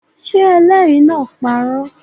Ṣé ẹlẹ́rìí náà parọ́?